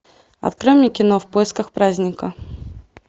открой мне кино в поисках праздника